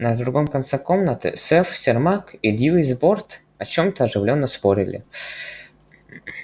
на другом конце комнаты сэф сермак и льюис борт о чем-то оживлённо спорили